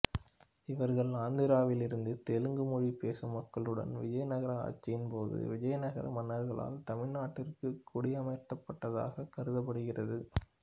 இவர்கள் ஆந்திராவிலிருந்து தெலுங்கு மொழி பேசும் மக்களுடன் விஜயநகர ஆட்சியின் போது விஜயநகர மன்னர்களால் தமிழ்நாட்டிற்கு குடியமர்த்தப்பட்டதாக கருதப்படுகிறது